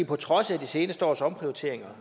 på trods af de seneste års omprioriteringer